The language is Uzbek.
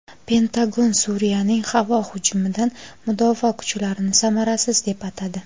Pentagon Suriyaning havo hujumidan mudofaa kuchlarini samarasiz deb atadi.